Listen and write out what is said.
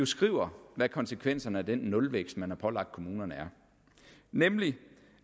skriver hvad konsekvenserne af den nulvækst man har pålagt kommunerne er nemlig